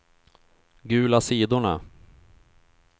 gula sidorna